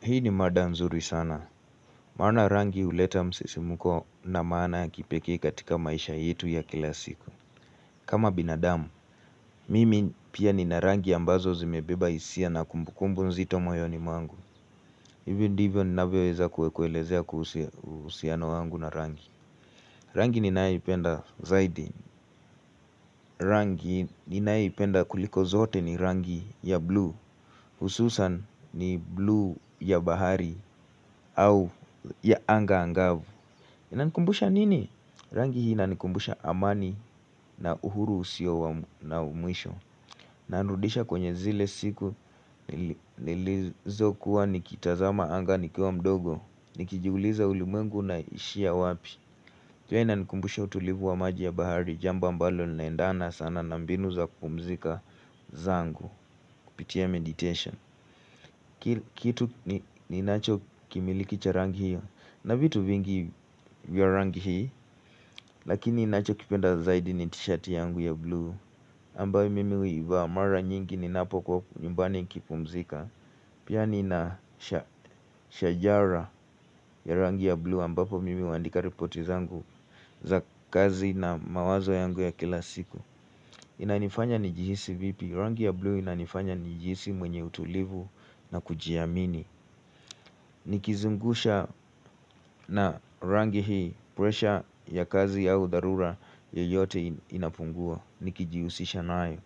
Hii ni mada nzuri sana. Maana rangi huleta msisimuko na maana ya kipekee katika maisha yetu ya kila siku. Kama binadamu, mimi pia nina rangi ambazo zimebeba hisia na kumbukumbu nzito moyoni mwangu. Hivyo ndivyo ninavyoweza kue kuelezea kuhusu uhusiano wangu na rangi. Rangi ninayoipenda zaidi rangi ninayoipenda kuliko zote ni rangi ya blue hususan ni blue ya bahari au ya anga angavu. Inanikumbusha nini? Rangi hii inanikumbusha amani na uhuru usio na mwisho inanirudisha kwenye zile siku nilizokuwa nikitazama anga nikiwa mdogo. Nikijiuliza ulimengu unaishia wapi jua inanikumbusha utulivu wa maji ya bahari. Jamba ambalo linaendana sana na mbinu za kupumzika zangu kupitia meditation kitu ninachokimiliki cha rangi hiyo na vitu vingi vya rangi hiyo lakini nachokipenda zaidi ni tishati yangu ya blue ambayo mimi huivaa mara nyingi ninapokuwa nyumbani ikipumzika. Pia nina shajara ya rangi ya blue ambapo mimi huandika ripoti zangu za kazi na mawazo yangu ya kila siku. Inanifanya nijihisi vipi. Rangi ya blue inanifanya nijihisi mwenye utulivu na kujiamini. Nikizungusha na rangi hii Pressure ya kazi au dharura yeyote inapungua. Nikijihusisha nayo.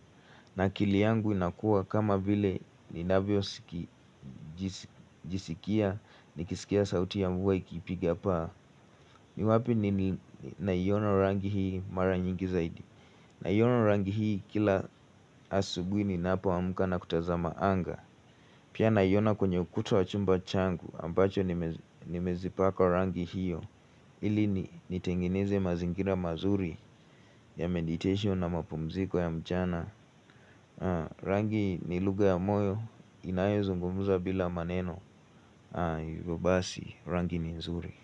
Na akili yangu inakuwa kama vile ninavyojisikia. Nikisikia sauti ya mvua ikipiga paa. Ni wapi ninaiona rangi hii mara nyingi zaidi. Naiona rangi hii kila asubui ninapoamka na kutazama anga. Pia naiona kwenye ukuta wa chumba changu ambacho nimezipaka rangi hiyo. Ili nitengeneze mazingira mazuri ya meditation na mapumziko ya mchana. Rangi ni lugha ya moyo inayozungumuza bila maneno hivyo basi rangi ni nzuri.